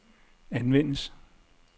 anvendes